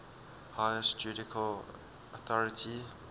highest judicial authority